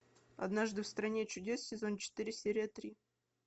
однажды в стране чудес сезон четыре серия три